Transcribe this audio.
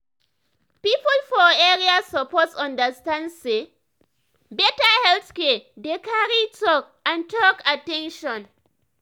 people for area suppose understand say better health care dey carry talk and talk and at ten tion.